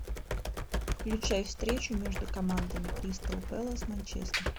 включай встречу между командами кристал пэлас манчестер